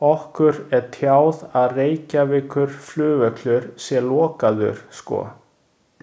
Okkur er tjáð að Reykjavíkurflugvöllur sé lokaður sko.